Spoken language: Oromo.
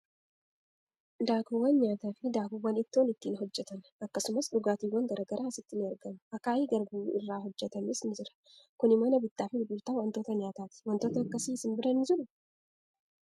Daakuuwwan nyaataa fi daakuuwwan ittoo ittiin hojjetan, akkasumas dhugaatiiwwan garaa garaa asitti ni argamu. Akaayiin garbuu irraa hojjetameerus ni jira. Kuni mana bittaa fi gurgurtaa waantota nyaataati. Wantootni akkasii isin bira ni jiruu?